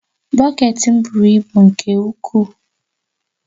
Bọket m buru ibu nke ukwuu